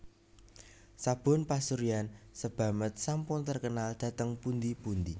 Sabun pasuryan Sebamed sampun terkenal dhateng pundi pundi